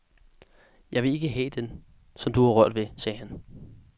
Jeg vil ikke have den, som du har rørt ved, sagde han.